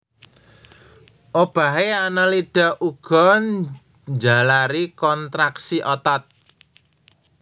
Obahé Annelida uga njalari kontraksi otot